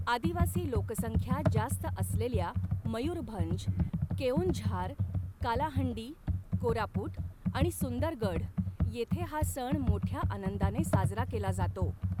आदिवासी लोकसंख्या जास्त असलेल्या मयूरभंज, केओंझार, कालाहंडी, कोरापुट आणि सुंदरगढ येथे हा सण मोठ्या आनंदाने साजरा केला जातो.